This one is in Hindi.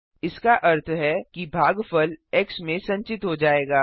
इसका अर्थ है कि भागफल एक्स में संचित हो जाएगा